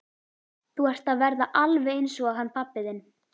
Þú ert að verða alveg eins og hann pabbi þinn.